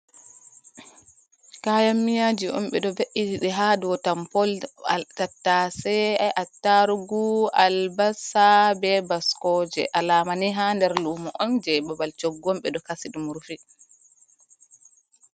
Kayan-miyaji on ɓeɗo ve’iti ɗe ha dou tampol. Tattase, attarugu, albasa, be baskoje. Alamani ha nder lumo on je babal choggu on ɓeɗo kasi ɗum rufi.